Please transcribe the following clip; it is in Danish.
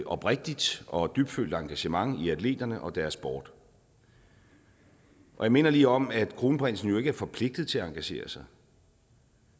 oprigtigt og dybtfølt engagement i atleterne og deres sport jeg minder lige om at kronprinsen jo ikke er forpligtet til at engagere sig